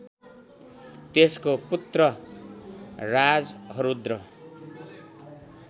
त्यसको पुत्र राजहरूद्र